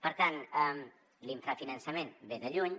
per tant l’infrafinançament ve de lluny